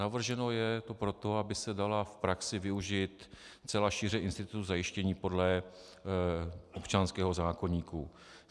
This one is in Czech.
Navrženo je to proto, aby se dala v praxi využít celá šíře institutu zajištění podle občanského zákoníku.